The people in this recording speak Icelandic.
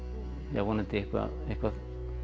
vonandi eitthvað eitthvað